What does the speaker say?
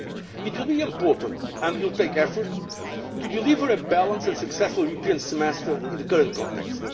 It will be important, and will take effort, to deliver a balanced and successful European Semester in the current context.